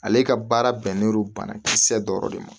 Ale ka baara bɛn no banakisɛ dɔrɔn de ma